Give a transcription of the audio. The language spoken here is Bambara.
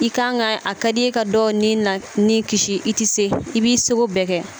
I kan ka a ka di i ye ka dɔ ni na ni kisi i tɛ se i b'i seko bɛɛ kɛ